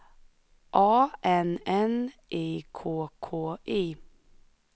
A N N I K K I